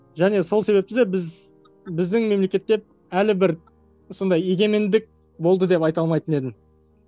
және сол себепті де біз біздің мемлекетте әлі бір сондай егемендік болды деп айта алмайтын едім